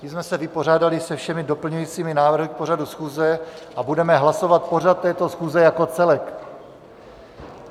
Tím jsme se vypořádali se všemi doplňujícími návrhy k pořadu schůze a budeme hlasovat pořad této schůze jako celek.